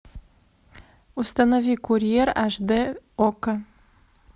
установи курьер аш дэ окко